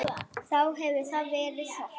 Þá hefur þar verið þorp.